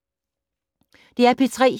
DR P3